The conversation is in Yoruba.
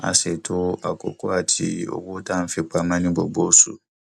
a ṣètò àkókò ati owó tá a fi pamọ ní gbogbo oṣù